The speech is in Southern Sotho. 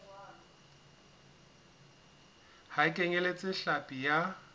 ha e kenyeletse hlapi ya